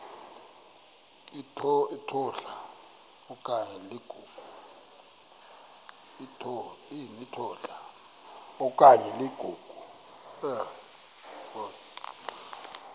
litola okanye ligogo